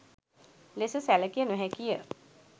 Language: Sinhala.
ලෙස සැලකිය නොහැකිය.